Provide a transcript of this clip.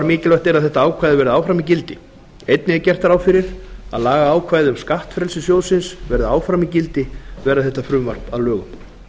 mikilvægt er að þetta ákvæði verði áfram í gildi einnig er gert ráð fyrir að lagaákvæði um skattfrelsi sjóðsins verði áfram í gildi verði þetta frumvarp að lögum